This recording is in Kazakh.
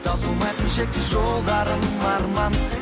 таусылмайтын шексіз жолдарым арман